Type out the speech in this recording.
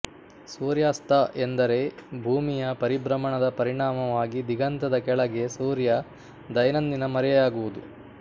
ಸೂರ್ಯಾಸ್ತ ಎಂದರೆ ಭೂಮಿಯ ಪರಿಭ್ರಮಣದ ಪರಿಣಾಮವಾಗಿ ದಿಗಂತದ ಕೆಳಗೆ ಸೂರ್ಯ ದೈನಂದಿನ ಮರೆಯಾಗುವುದು